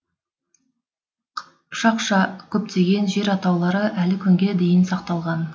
қыпшақша көптеген жер атаулары әлі күнге дейін сақталған